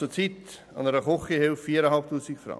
Ich bezahle einer Küchenhilfe zurzeit 4500 Franken.